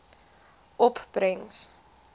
opbrengs